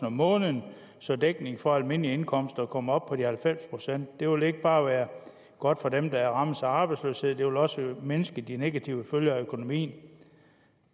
om måneden så dækning for almindelige indkomster kommer op på de halvfems procent det vil ikke bare være godt for dem der rammes af arbejdsløshed det vil også mindske de negative følger for økonomien